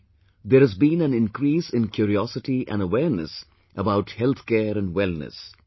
Today there has been an increase in curiosity and awareness about Healthcare and Wellness